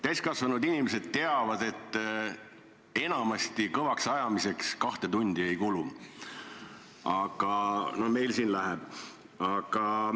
Täiskasvanud inimesed teavad, et enamasti kõvaks ajamiseks kahte tundi ei kulu, aga no meil siin kulub.